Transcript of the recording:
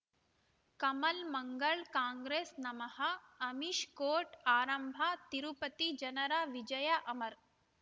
ಕಮಲ್ ಮಂಗಳ್ ಕಾಂಗ್ರೆಸ್ ನಮಃ ಅಮಿಷ್ ಕೋರ್ಟ್ ಆರಂಭ ತಿರುಪತಿ ಜನರ ವಿಜಯ ಅಮರ್